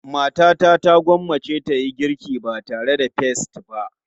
Matata ta gwammace ta yi girki ba tare da peas ba.